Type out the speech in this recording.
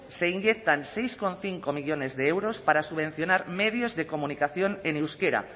se inyectan seis coma cinco millónes de euros para subvencionar medios de comunicación en euskera